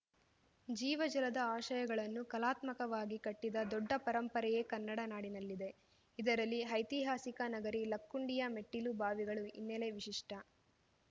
ಜೀವಜಲದ ಆಶಯಗಳನ್ನು ಕಲಾತ್ಮಕವಾಗಿ ಕಟ್ಟಿದ ದೊಡ್ಡ ಪರಂಪರೆಯೇ ಕನ್ನಡ ನಾಡಿನಲ್ಲಿದೆ ಇದರಲ್ಲಿ ಐತಿಹಾಸಿಕ ನಗರಿ ಲಕ್ಕುಂಡಿಯ ಮೆಟ್ಟಿಲು ಬಾವಿಗಳು ಹಿನ್ನೆಲೆ ವಿಶಿಷ್ಟ